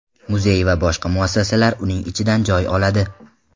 Muzey va boshqa muassasalar uning ichidan joy oladi.